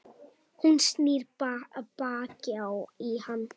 Hún snýr baki í hann.